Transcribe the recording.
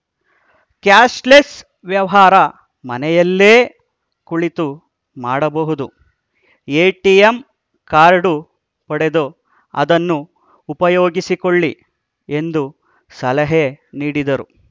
cashless ವ್ಯವಹಾರ ಮನೆಯಲ್ಲೇ ಕುಳಿತು ಮಾಡಬಹುದು ಎಟಿಎಂ ಕಾರ್ಡು ಪಡೆದು ಅದನ್ನು ಉಪಯೋಗಿಸಿಕೊಳ್ಳಿ ಎಂದು ಸಲಹೆ ನೀಡಿದರು